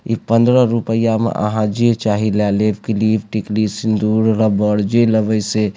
इ पंद्रह रुपैया में आहां जे चाही ला लेब किलिप टिकली सिंदूर रबड़ जे लेबे से।